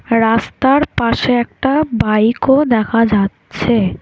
রাস্তার পাশে একটা বাইকও দেখা যাচ্ছে।